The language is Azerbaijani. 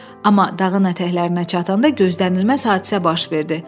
Amma dağın ətəklərinə çatanda gözlənilməz hadisə baş verdi.